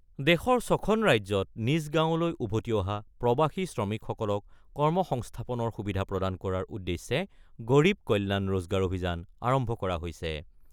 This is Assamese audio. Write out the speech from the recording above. দেশৰ ছখন ৰাজ্যত নিজ গাঁৱলৈ উভতি অহা প্ৰৱাসী শ্ৰমিকসকলক কৰ্মসংস্থাপনৰ সুবিধা প্ৰদান কৰাৰ উদ্দেশ্যে গৰীৱ কল্যাণ ৰোজগাৰ অভিযান আৰম্ভ কৰা হৈছে।